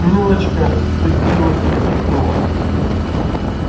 милочка стыдливо хихикнула